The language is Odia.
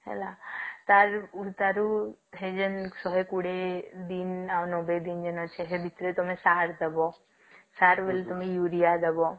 ହେଲା ତଅ ତାରୁ ହେଇଯିବ ଶହେ କୁଡିଏ ଦିନ ଆଉ ନବେ ଦିନ ଭିତରେ ଆମେ ସାର ଦବ ସାର ବାଇଲ ତମେ ୟୁରିଆ ଦବ